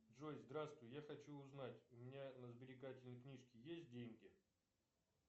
джой здравствуй я хочу узнать у меня на сберегательной книжке есть деньги